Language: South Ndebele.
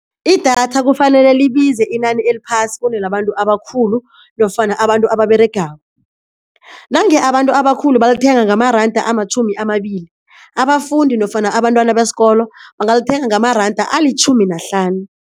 Idatha kufanele libize inani eliphasi kunelabantu abakhulu nofana abantu ababeregako, nange abantu abakhulu balithenga ngamaranda amatjhumi amabili, abafundi nofana abantwana besikolo bangalithenga ngamaranda alitjhumi nahlanu.